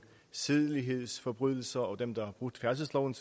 sædelighedsforbrydelser og dem der har brudt færdselsloven